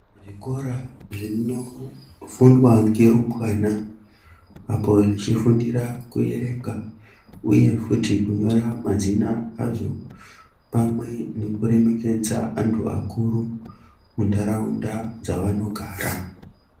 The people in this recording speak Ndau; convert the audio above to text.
Zvikora zvinofundwa ngerumbwana apo zvechifindira kuerenga uye futi kunyora mazina adzo pamwe nekuremekedza antu akuru muntaraunda dzavanogara.